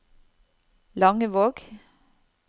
Langevåg